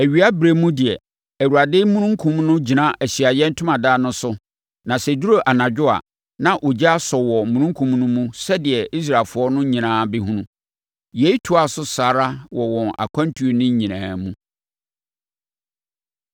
Awiaberɛ mu deɛ, Awurade omununkum no gyina Ahyiaeɛ Ntomadan no so na sɛ ɛduru anadwo a, na ogya asɔ wɔ omununkum no mu sɛdeɛ Israelfoɔ no nyinaa bɛhunu. Yei toaa so saa ara wɔ wɔn akwantuo no nyinaa mu.